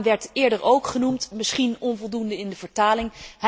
De naam werd eerder ook genoemd, misschien onvoldoende in de vertolking.